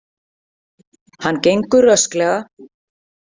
Hann gengur rösklega.